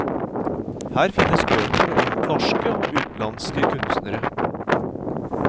Her finnes bøker om norske og utenlandske kunstnere.